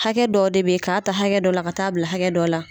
Hakɛ dɔw de be ye, k'a ta hakɛ dɔ la ka taa bila hakɛ dɔ la